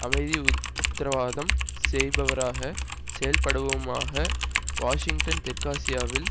அமைதிக்கு உத்தரவாதம் செய்பவராக செயல்படவுமாகவாஷிங்டன் தெற்காசியாவில்